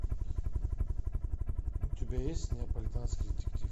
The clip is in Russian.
у тебя есть неаполитанский детектив